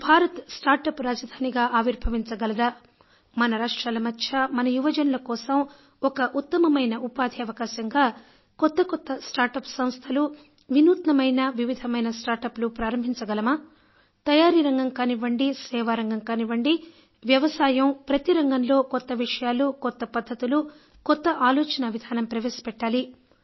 Bharat start up రాజధానిగా ఆవిర్భవించగలదా మన రాష్ట్రాల మధ్య మన యువజనుల కోసం ఒక ఉత్తమమైన ఉపాథి అవకాశంగా కొత్త కొత్త స్టార్ట్ అప్ సంస్థలు వినూత్నమైన వివిధమైన స్టార్ట్ అప్ లు ప్రారంభించగలమా తయారీరంగం కానివ్వండి సేవారంగం కానివ్వండి వ్యవసాయం ప్రతి రంగంలో కొత్త విషయాలు కొత్త పద్ధతులు కొత్త ఆలోచనా విధానం ప్రవేశపెట్టాలి